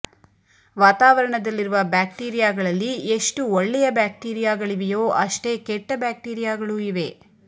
ವಾತಾವರಣದಲ್ಲಿರುವ ಬ್ಯಾಕ್ಟೀರಿಯಾಗಳಲ್ಲಿ ಎಷ್ಟು ಒಳ್ಳೆಯ ಬ್ಯಾಕ್ಟೀರಿಯಾಗಳಿವೆಯೋ ಅಷ್ಟೇ ಕೆಟ್ಟ ಬ್ಯಾಕ್ಟೀರಿಯಾಗಳೂ ಇವೆ